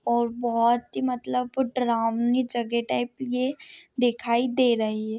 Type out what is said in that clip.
और बहुत ही मतलब डरावनी जगह टाइप ये दिखाई दे रही है।